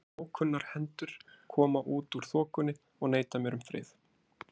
En ókunnar hendur koma út úr þokunni og neita mér um frið.